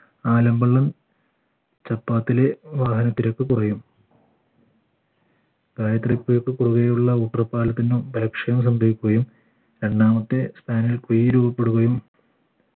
ആലമ്പലം ചപ്പാത്തിലെ വാഹന തിരക്ക് കുറയും ഗായത്രി പുഴക്ക് കുറുകെയുള്ള പാലത്തിനു സംഭവിക്കുകയും രണ്ടാമത്തെ സ്പാനി കുഴി രൂപപ്പെടുകയും